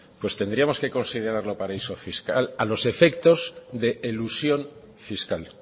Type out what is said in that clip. pues tendríamos que considerarlo paraíso fiscal a los efectos de elusión fiscal